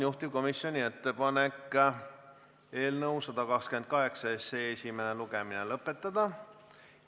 Juhtivkomisjoni ettepanek on eelnõu 128 esimene lugemine lõpetada.